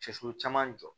Cɛ sulu caman jɔ